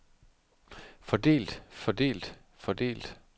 fordelt fordelt fordelt